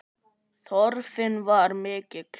Þörfin var mikil.